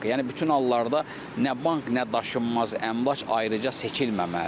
Yəni bütün hallarda nə bank, nə daşınmaz əmlak ayrıca seçilməməlidir.